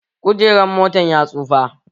Kujeran motan ya tsufa